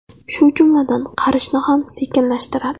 Shu jumladan, qarishni ham sekinlashtiradi.